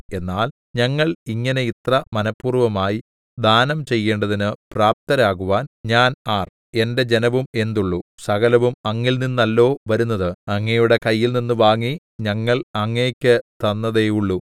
എന്നാൽ ഞങ്ങൾ ഇങ്ങനെ ഇത്ര മനഃപൂർവ്വമായി ദാനം ചെയ്യേണ്ടതിന് പ്രാപ്തരാകുവാൻ ഞാൻ ആർ എന്റെ ജനവും എന്തുള്ളു സകലവും അങ്ങിൽനിന്നല്ലോ വരുന്നത് അങ്ങയുടെ കയ്യിൽനിന്ന് വാങ്ങി ഞങ്ങൾ അങ്ങയ്ക്ക് തന്നതേയുള്ളു